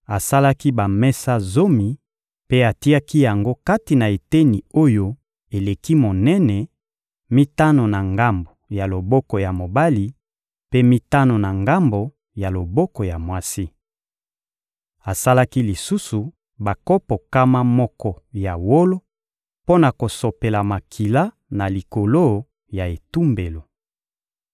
Asalaki bamesa zomi mpe atiaki yango kati na eteni oyo eleki monene: mitano na ngambo ya loboko ya mobali, mpe mitano na ngambo ya loboko ya mwasi. Asalaki lisusu bakopo nkama moko ya wolo mpo na kosopela makila na likolo ya etumbelo.